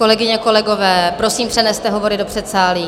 Kolegyně, kolegové, prosím, přeneste hovory do předsálí.